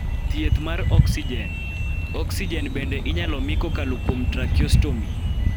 Thieth mar oksijen Oksijen bende inyalo mi kokalo kuom tracheostomy (TRA-ke-OS-ne-an).